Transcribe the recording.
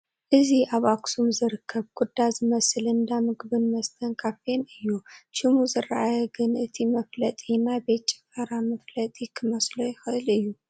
እዚ ኣብ ኣኽሱም ዝርከብ ኩዳ ዝበሃል እንዳ ምግብን መስተን ካፌን እዩ፡፡ ሽሙ ዝረአየ ግን እቲ መፋለጢ ናይ ቤት ጭፈራ መፋለጢ ክመስሎ ይኽእል እዩ፡፡